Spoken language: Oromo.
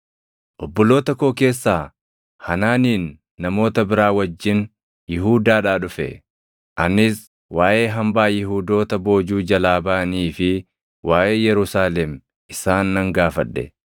obboloota koo keessaa Hanaaniin namoota biraa wajjin Yihuudaadhaa dhufe; anis waaʼee hambaa Yihuudoota boojuu jalaa baʼanii fi waaʼee Yerusaalem isaan nan gaafadhe.